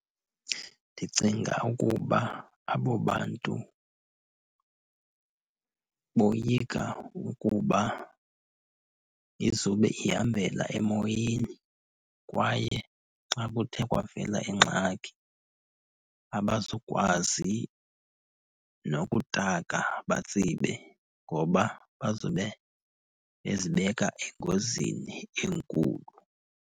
Ndicinga ukuba abo bantu boyika ukuba izube ihambela emoyeni. Kwaye xa kuthe kwavela ingxaki abazukwazi nokutaka batsibe ngoba bazobe bezibeka engozini enkulu